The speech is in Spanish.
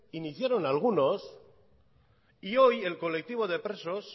iniciaron algunos y hoy el colectivo de presos